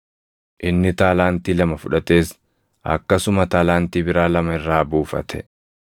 Inni taalaantii lama fudhates akkasuma taalaantii biraa lama irraa buufate.